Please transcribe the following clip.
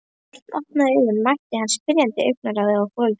Þegar Örn opnaði augun mætti hann spyrjandi augnaráði foreldra sinna.